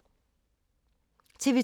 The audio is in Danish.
TV 2